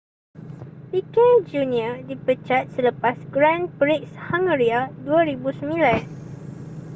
piquet jr dipecat selepas grand prix hungaria 2009